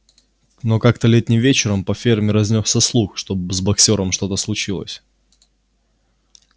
но как-то летним вечером по ферме разнёсся слух что с боксёром что-то случилось